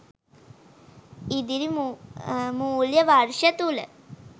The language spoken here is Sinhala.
ඉදිරි මූල්‍ය වර්ෂය තුල